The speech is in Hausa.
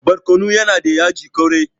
barkonon yana da yaji kwarai